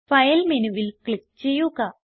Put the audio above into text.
file മെനുവിൽ click ചെയ്യുക